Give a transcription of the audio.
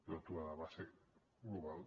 l’aturada va ser global